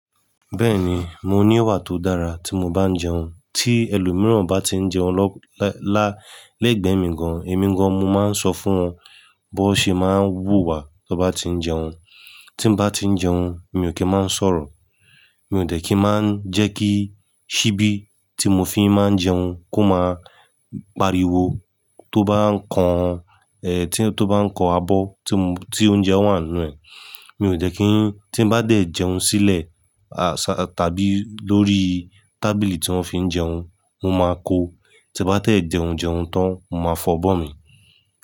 Bẹ́ẹ̀ni, mo ní ọwà tó dára tí mo bá ń jẹun, tí ẹlòmíràn bá ti ń jẹun lọ́-- lá-- lẹ́gbẹ̀ẹ́ mi gan-an, èmi gan-an mo máa ń sọ fún wọn bó ṣe máa ń wúwa bó bá ti ń jẹun. Tí mo bá ti ń jẹun mi ò kí máa ń sọ̀rọ̀. Mi ò tẹ̀ kí máa ń jẹ́ kí síbí tí mo fi máa ń jẹun kó máa pariwo tó bá ń kan, eh, tí ó bá ń kan abọ́ tí mo-- tí oúnjẹ wà nínú ẹ̀. Mi ò dẹ̀ kí-- tí n bá tẹ̀ jẹun sílẹ̀, a sa-- tàbí lórí tábìlì tí wọ́n fi ń jẹun, mo máa kó. Tí n bá tẹ jẹun jẹun tán, mo máa fọ abọ́ mi.